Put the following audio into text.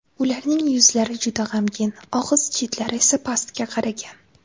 Ularning yuzlari juda g‘amgin, og‘iz chetlari esa pastga qaragan.